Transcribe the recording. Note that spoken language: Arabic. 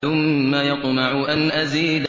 ثُمَّ يَطْمَعُ أَنْ أَزِيدَ